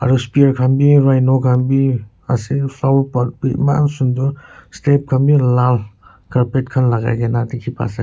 aru speak khan bhi raino khan bhi ase flower pot bhi eman sunder stage karne lal carpet khan lagai kini dekhi paisa.